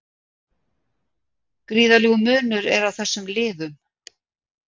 Gríðarlegur munur er á þessum liðum